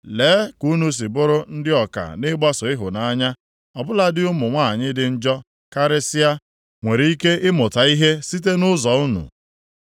Lee ka unu si bụrụ ndị ọka nʼịgbaso ịhụnanya. Ọ bụladị ụmụ nwanyị dị njọ karịsịa nwere ike ịmụta ihe site nʼụzọ unu.